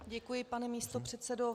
Děkuji, pane místopředsedo.